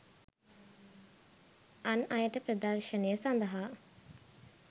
අන් අයට ප්‍රදර්ශනය සඳහා